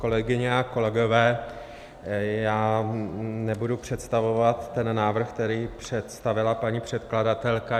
Kolegyně a kolegové, já nebudu představovat ten návrh, který představila paní předkladatelka.